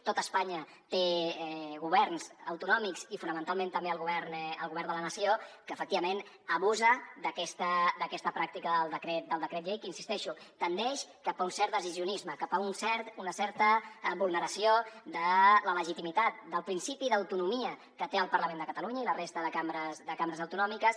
tot espanya té governs autonòmics i fonamentalment també el govern de la nació que efectivament abusa d’aquesta pràctica el decret llei que insisteixo tendeix cap a un cert decisionisme cap a una certa vulneració de la legitimitat del principi d’autonomia que té el parlament de catalunya i la resta de cambres de cambres autonòmiques